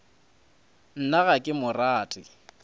nna ga ke mo rate